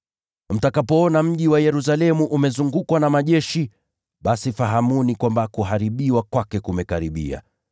“Mtakapoona mji wa Yerusalemu umezungukwa na majeshi, basi fahamuni kwamba kuharibiwa kwake kumekaribia.